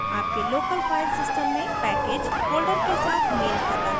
package local file system में package folder के साथ मेल खाता है